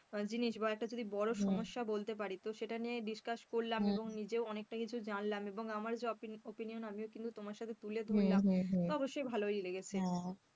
জিনিস বা একটা যদি বড় সমস্যা বলতে পারি, তো সেটা নিয়ে discuss করলাম এবং নিজেও অনেকটা অনেক কিছু জানলাম এবং আমার job opinion আমিও কিন্তু তোমার সাথে তুলে ধরলাম, তো অবশ্যই ভালো লেগেছে,